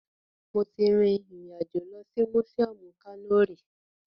Mo ti rin ìrìn àjò lọ sí mùsíọmù Kano rí